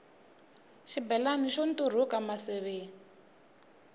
xibelani xo nturhuka maseve